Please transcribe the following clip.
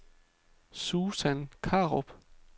Susan Krarup